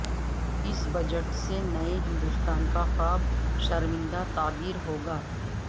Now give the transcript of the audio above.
اس بجٹ سے نئے ہندوستان کا خواب شرمندہ تعبیر ہوگا